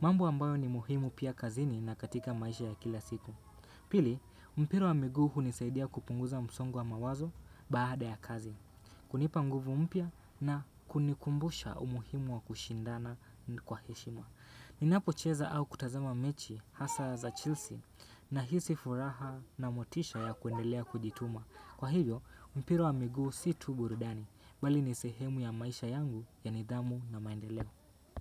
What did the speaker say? Mambo ambayo ni muhimu pia kazini na katika maisha ya kila siku. Pili, mpira wa miguu hunisaidia kupunguza msongo wa mawazo baada ya kazi. Kunipa nguvu mpya na kunikumbusha umuhimu wa kushindana kwa heshima. Ninapocheza au kutazama mechi hasa za chelsea nahisi furaha na motisha ya kuendelea kujituma kwa hivyo, mpira wa miguu si tu burudani, bali ni sehemu ya maisha yangu ya nidhamu na maendeleo.